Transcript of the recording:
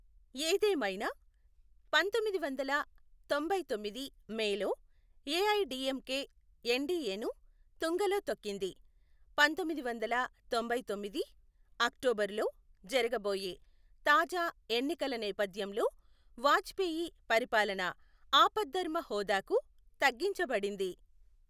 ఏదేమైనా, పంతొమ్మిది వందల తొంభైతొమ్మిది మేలో, ఏఐడిఎంకే ఎన్డీఏను తుంగలో తొక్కింది, పంతొమ్మిది వందల తొంభైతొమ్మిది అక్టోబరులో జరగబోయే తాజా ఎన్నికల నేపధ్యంలో వాజ్పేయి పరిపాలన ఆపద్ధర్మ హోదాకు తగ్గించబడింది.